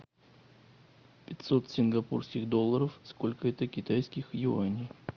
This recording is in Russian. пятьсот сингапурских долларов сколько это китайских юаней